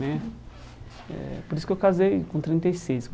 Né eh Por isso que eu casei com trinta e seis.